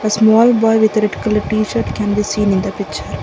small boy with a red colour tshirt can be seen in the picture.